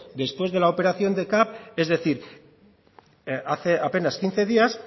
después de la operación de capv es decir hace apenas quince días